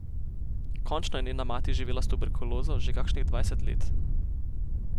Končno je njena mati živela s tuberkulozo že kakšnih dvajset let.